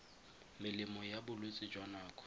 melemo ya bolwetse jwa nako